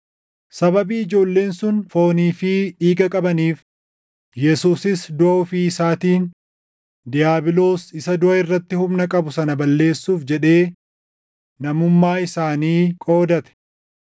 Sababii ijoolleen sun foonii fi dhiiga qabaniif, Yesuusis duʼa ofii isaatiin diiyaabiloos isa duʼa irratti humna qabu sana balleessuuf jedhee namummaa isaanii qoodate;